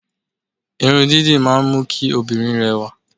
Irun dídì máa ń mú kí òbìnrin rẹ̀wà